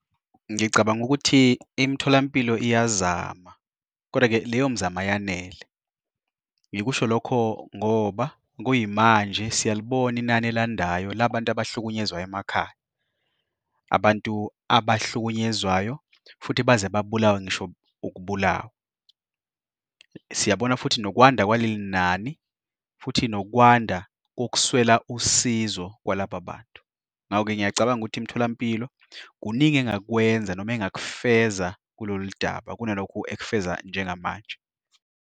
Ngicabanga ukuthi imitholampilo iyazama, kodwa-ke leyo mzamo ayanele, ngikusho lokho ngoba kuyimanje siyalibona inani elandelayo labantu abahlukunyezwa emakhaya, abantu abahlukunyezwayo futhi baze babulawe ngisho ukubulawa. Siyabona futhi nokwanda kwalenani futhi nokwanda kokuswela usizo kwalaba bantu. Ngakho-ke ngiyacabanga ukuthi imtholampilo, kuningi engakwenza noma engakufezela kulolu daba kunalokhu ekufeza njengamanje.